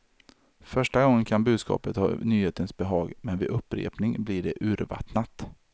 Första gången kan budskapet ha nyhetens behag, men vid upprepning blir det urvattnat.